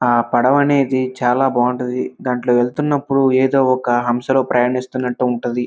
ఆహ్ పడవ అనేది చాలా బాగుంటుంది దాంట్లో వెళ్తున్నప్పుడు ఏదో ఒక హంసలో ప్రయాణిస్తూ ఉంటది.